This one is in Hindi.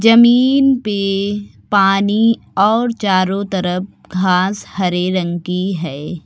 जमीन पे पानी और चारों तरफ घास हरे रंग की है।